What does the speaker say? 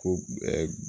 Ko